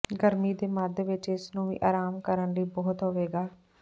ਗਰਮੀ ਦੇ ਮੱਧ ਵਿੱਚ ਇਸ ਨੂੰ ਵੀ ਆਰਾਮ ਕਰਨ ਲਈ ਬਹੁਤ ਹੋਵੇਗਾ